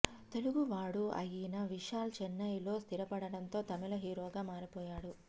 తెలుగువాడు అయిన విశాల్ చెన్నై లో స్థిరపడటంతో తమిళ హీరోగా మారిపోయాడు